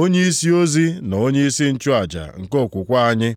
Onyeisi ozi na onyeisi nchụaja nke okwukwe anyị.